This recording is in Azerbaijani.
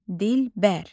Dilbər.